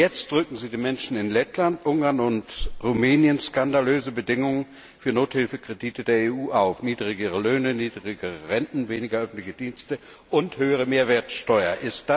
Schon jetzt zwingen Sie den Menschen in Lettland, Ungarn und Rumänien skandalöse Bedingungen für Nothilfekredite der EU auf niedrigere Löhne, niedrigere Renten, weniger öffentliche Dienste und eine höhere Mehrwertsteuer.